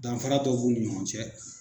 Danfara dɔw b'u ni ɲɔgɔn cɛ